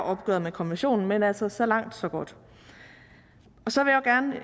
opgøret med konventionen men altså så langt så godt så